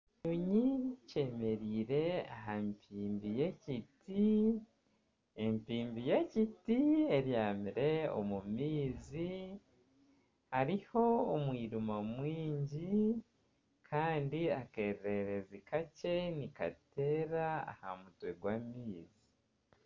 Ekiyonyi kyemereire aha mpimbi y'ekiti, empimbi y'ekiti ebyamire omu maizi hariho omwirima mwingi kandi akeererezi kakye nikateera aha mutwe gw'amaizi.